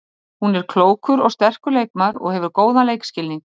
Hún er klókur og sterkur leikmaður og hefur góðan leikskilning.